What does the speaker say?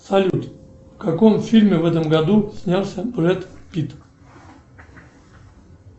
салют в каком фильме в этом году снялся брэд питт